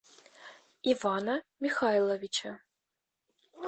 ивана михайловича